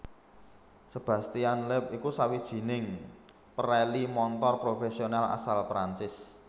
Sebastien Loeb iku sawijining pereli montor profésional asal Prancis